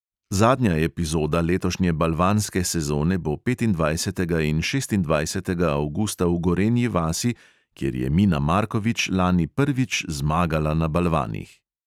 Zadnja epizoda letošnje balvanske sezone bo petindvajsetega in šestindvajsetega avgusta v gorenji vasi, kjer je mina markovič lani prvič zmagala na balvanih.